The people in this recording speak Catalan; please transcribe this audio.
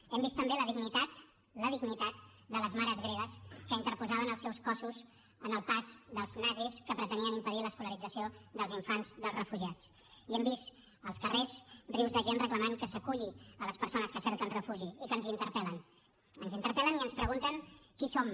hem vist també la dignitat la dignitat de les mares gregues que interposaven els seus cossos en el pas dels nazis que pretenien impedir l’escolarització dels infants dels refugiats i hem vist als carrers rius de gent reclamant que s’aculli les persones que cerquen refugi i que ens interpel·len ens interpel·len i ens pregunten qui som